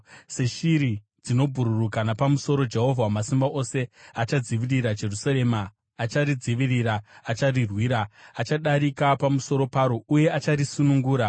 Seshiri dzinobhururuka napamusoro, Jehovha Wamasimba Ose achadzivirira Jerusarema; acharidzivirira, acharirwira, achadarika pamusoro paro uye acharisunungura.”